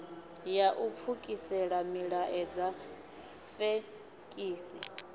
ya u pfukisela milaedza fekisi